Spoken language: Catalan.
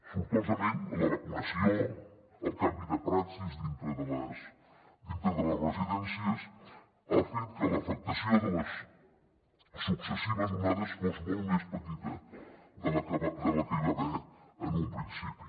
sortosament la vacunació el canvi de praxis dintre de les residències ha fet que l’afectació de les successives onades fos molt més petita de la que hi va haver en un principi